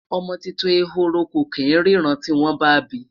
ọmọ tuntun ehoro kò kin rinna tiwon ba bi